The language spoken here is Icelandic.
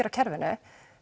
á kerfinu